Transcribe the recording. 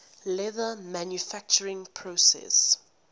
leather manufacturing process